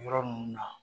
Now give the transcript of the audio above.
Yɔrɔ ninnu na